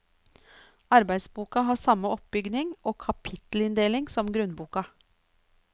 Arbeidsboka har samme oppbygning og kapittelinndeling som grunnboka.